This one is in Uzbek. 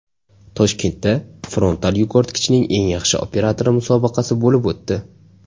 Toshkentda frontal yukortgichning eng yaxshi operatori musobaqasi bo‘lib o‘tdi.